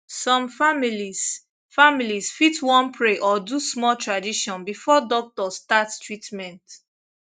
some families families fit wan pray or do small tradition before doctor start treatment